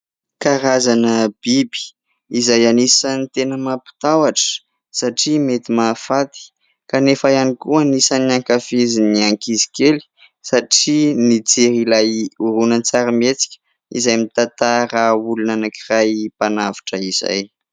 Karazana biby izay anisan'ny tena mampatahotra satria mety mahafaty kanefa ihany koa anisan'ny ankafizin'ny ankizy kely satria nijery ilay horonan-tsarimihetsika izay mitantara olona anankiray mpanavotra izay.